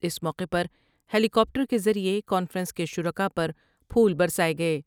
اس موقعے پر helicopter کے ذریعے کانفرنس کے شر کا ء پر پھول برساۓ گئے ۔